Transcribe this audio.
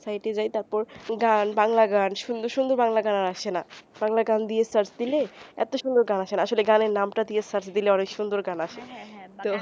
পর গান বাংলা গান সুন্দর সুন্দর বাংলা গান আর আসেনা বাংলা গান দিয়ে search দিলে এতো সুন্দর গান টা আসেনা আসলে গানের নাম দিয়ে search দিলে অনেক সুন্দর গান আসে